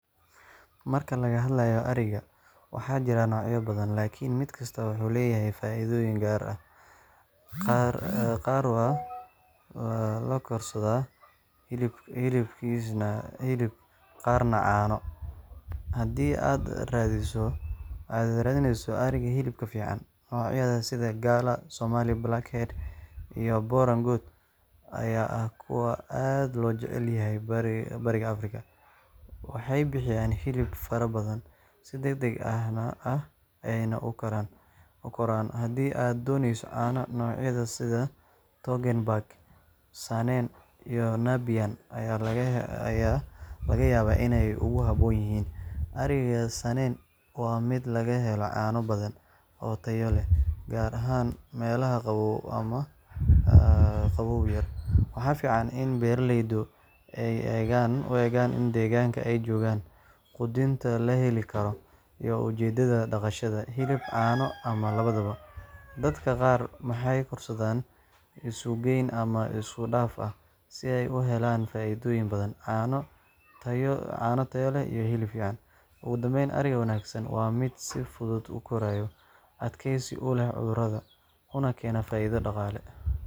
Marka laga hadlayo ariga, waxaa jira noocyo badan, laakiin mid kasta wuxuu leeyahay faa’iido gaar ah – qaar waa loo korsadaa hilib, qaarna caano. Haddii aad raadinayso ariga hilibka fiican, noocyada sida Galla, Somali Blackhead, iyo Boran goat ayaa ah kuwa aad loo jecel yahay Bariga Afrika. Waxay bixiyaan hilib farabadan, si degdeg ah ayayna u koraan. Haddii aad danaynayso caano, noocyada sida Toggenburg, Saanen, iyo Nubian ayaa laga yaabaa inay kugu habboon yihiin. Ariga Saanen waa mid laga helo caano badan oo tayo leh, gaar ahaan meelaha qabow ama qabow-yar. Waxaa fiican in beeraleydu u eegaan deegaanka ay joogaan, quudinta la heli karo, iyo ujeeddada dhaqashada – hilib, caano, ama labadaba. Dadka qaar waxay korsadaan isugeyn ama iskudhaf ah si ay u helaan faa’iidooyin badan: caano tayo leh iyo hilib fiican. Ugu dambayn, ariga wanaagsan waa mid si fudud u koraya, adkaysi u leh cudurrada, una keena faa’iido dhaqaale.